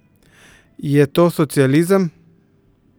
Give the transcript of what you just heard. Je to socializem?